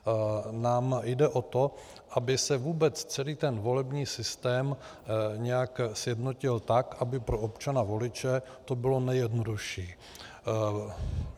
Nám jde o to, aby se vůbec celý ten volební systém nějak sjednotil tak, aby pro občana voliče to bylo nejjednodušší.